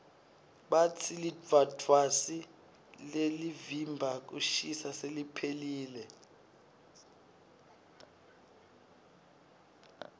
batsi lidvwadvwasi lelivimba kushisa seliphelile